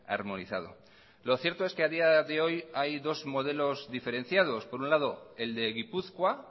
armonizado lo cierto es que a día de hoy hay dos modelos diferenciados por un lado el de gipuzkoa